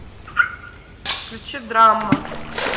включи драма